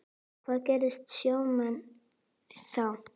Hvað gera sjómenn þá?